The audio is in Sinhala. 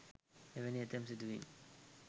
එවැනි ඇතැම් සිදුවීම්